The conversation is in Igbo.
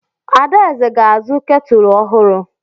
Adaeze ga-azụ ketụlụ ọhụrụ.